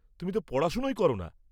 তুমি তো পড়াশোনাই কর না।